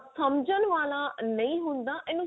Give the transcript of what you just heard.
ਸਮਝਣ ਵਾਲਾ ਨਹੀਂ ਹੁੰਦਾ ਇਹਨੂੰ